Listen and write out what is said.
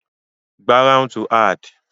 gharaun to add